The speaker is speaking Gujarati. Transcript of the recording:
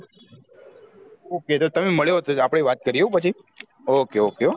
okay તો તમેં મળો આપડે વાત હો કરીએ પછી okay okay